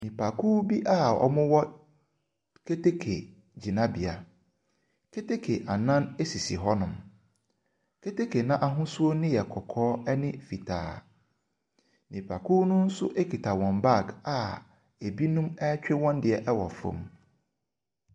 Nnipakuw bi a wɔwɔ keteke gyinabea. Keteke anan sisi hɔnom. Keteke no ahosuo no yɛ kɔkɔɔ ne fitaa. Nnipakuo no nso kita wɔn bag a ebinom retwe wɔn deɛ wɔ fam.